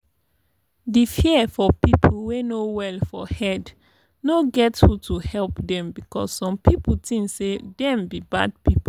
the fear for people wey no well for head no get who to help them because some people thing say them be bad people.